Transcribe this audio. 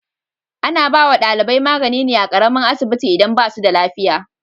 Ana ba wa dalibai magani ne a karamin asibiti idan ba su da lafiya.